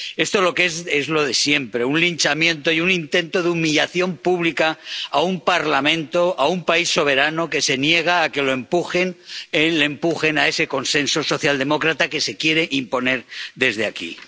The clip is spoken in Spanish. Esto, lo que es, es lo de siempre un linchamiento y un intento de humillación pública a un Parlamento, a un país soberano que se niega a que lo empujen a ese consenso socialdemócrata que se quiere imponer desde aquí.